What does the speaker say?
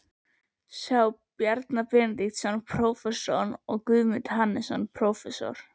sjá Bjarna Benediktsson, prófessor, og Guðmund Hannesson, prófessor.